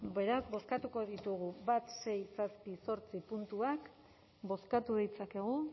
bale beraz bozkatuko ditugu bat sei zazpi zortzi puntuak bozkatu ditzakegu